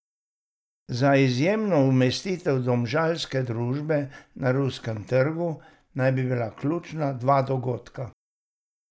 Za izjemno umestitev domžalske družbe na ruskem trgu naj bi bila ključna dva dogodka.